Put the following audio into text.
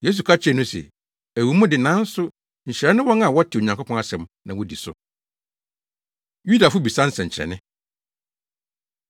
Yesu ka kyerɛɛ no se, “Ɛwɔ mu de, nanso nhyira ne wɔn a wɔte Onyankopɔn asɛm na wodi so.” Yudafo Bisa Nsɛnkyerɛnne